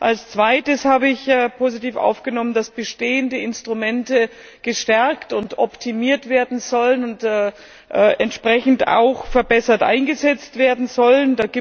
Als Zweites habe ich positiv aufgenommen, dass bestehende Instrumente gestärkt und optimiert werden sollen und entsprechend auch verbessert eingesetzt werden sollen.